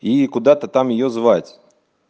и куда-то там её звать